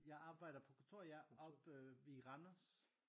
Jeg arbejder på kontor ja oppe i Randers